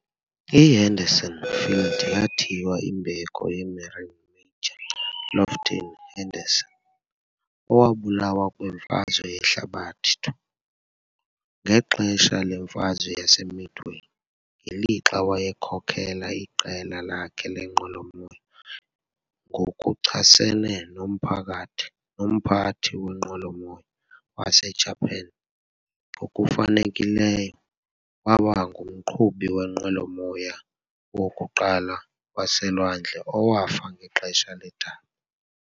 I-Henderson Field yathiywa imbeko ye-Marine Major Lofton Henderson, owabulawa kwiMfazwe Yehlabathi II, ngexesha leMfazwe yaseMidway, ngelixa wayekhokela iqela lakhe leenqwelomoya ngokuchasene nomphakathi nomphathi wenqwelomoya waseJapan, ngokufanelekileyo waba ngumqhubi wenqwelomoya wokuqala waseLwandle owafa ngexesha ledabi.